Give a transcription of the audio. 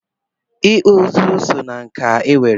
Ịkpụ ụzụ so ná nkà e nwere.